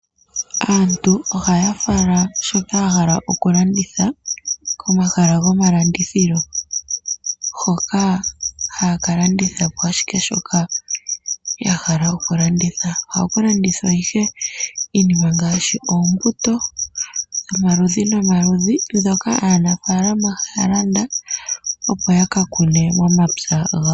Aantu ohaya fala shoka yahala oku landitha komahala gomalandithilo hoka haya kala landitha po ashike shoka yahala oku landitha. Ohaku landithwa ihe iinima ngaashi oombutu dhomaludhi nomaludhi mbyoka aanafaalama ohaya landa opo yaka kune momapya gawo.